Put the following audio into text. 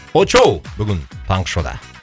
очоу бүгін таңғы шоуда